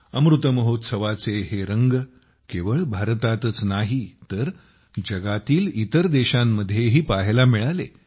अमृत महोत्सवाचे हे रंग केवळ भारतातच नाही तर जगातील इतर देशांमध्येही पाहायला मिळाले